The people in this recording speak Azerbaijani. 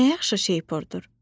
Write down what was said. Nə yaxşı şeypurdur.